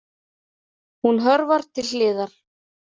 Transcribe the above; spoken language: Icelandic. Hún hörfar til hliðar.